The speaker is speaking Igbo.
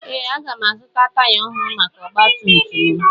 Ee, aga m azụta taya ọhụrụ maka ọgba tum tum m